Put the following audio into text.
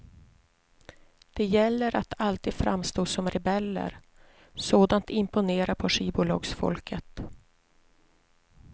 Det gäller att alltid framstå som rebeller, sådant imponerar på skivbolagsfolket.